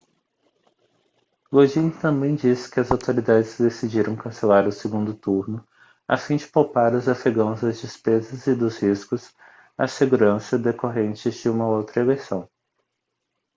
lodin também disse que as autoridades decidiram cancelar o segundo turno a fim de poupar os afegãos das despesas e dos riscos à segurança decorrentes de uma outra eleição